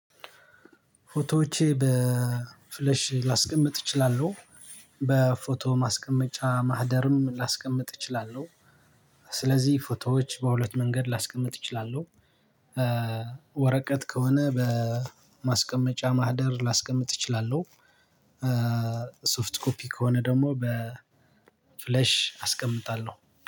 ፎቶዎቼ በፍለሽ ላስቀምጥ እችላለሁ በፎቶ ማስቀመጫ ማህደርም ላስቀምጥ እችላለሁ። ስለዚህ ፎቶዎች በሁለት መንገድ ላስቀምጥ እችላለሁ። ወረቀት ከሆነ በማስቀመጫ ማህደር ላስቀምጥ እችላለሁ። ሶፍት ኮፒ ከሆነ ደግሞ በ ፍለሽ አስቀምጣለሁ